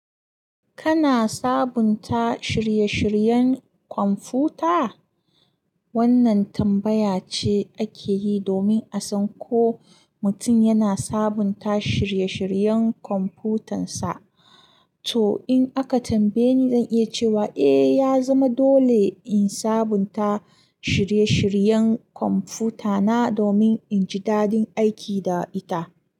Kana sabunta shirye-shiryen kwamfuta? Wannan tambaya ce ake yi domin a san ko mutum yana sabunta shirye-shiryen kwamfutansa. To, in aka tambaye ni, zan iya cewa eh, ya zama dole in sabunta shirye-shiryen kwamfutana domin in ji dadin aiki da ita.